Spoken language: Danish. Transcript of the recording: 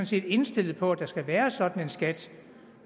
set er indstillet på at der skal være sådan en skat